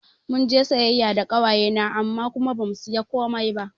Munje siyayya da ƙawaye na amma kuma bamu sayi komai ba